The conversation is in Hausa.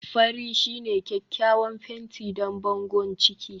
fari shine kyakkyawan fenti don bangon ciki